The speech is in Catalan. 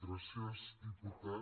gràcies diputat